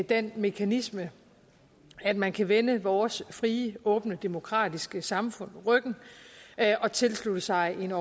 den mekanisme at man kan vende vores frie åbne demokratiske samfund ryggen og tilslutte sig en